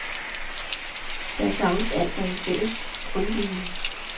Der savnes altså en fælles grundviden.